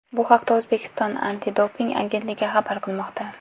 Bu haqda O‘zbekiston antidoping agentligi xabar qilmoqda .